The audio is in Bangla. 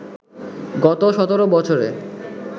গত ১৭ বছরে